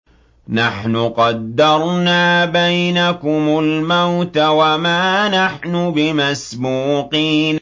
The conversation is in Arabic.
نَحْنُ قَدَّرْنَا بَيْنَكُمُ الْمَوْتَ وَمَا نَحْنُ بِمَسْبُوقِينَ